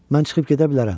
Mən çıxıb gedə bilərəm.